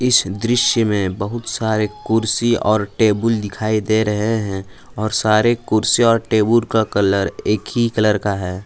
इस दृश्य में बहुत सारे कुर्सी और टेबुल दिखाई दे रहे हैं और सारे कुर्सी और टेबुल का कलर एक ही कलर का है।